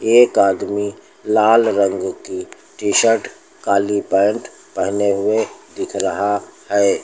एक आदमी लाल रंग की टी शर्ट काली पैंट पहने हुए दिख रहा है।